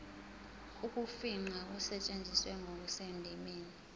ukufingqa kusetshenziswe ngokusendimeni